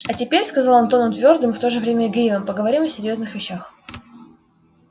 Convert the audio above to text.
а теперь сказал он тоном твёрдым и в то же время игривым поговорим о серьёзных вещах